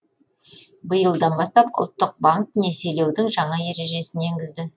биылдан бастап ұлттық банк несиелеудің жаңа ережесін енгізді